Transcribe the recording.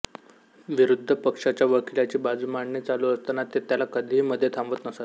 विरुद्ध पक्षाच्या वकिलाची बाजू मांडणे चालू असताना ते त्याला कधीही मध्ये थांबवत नसत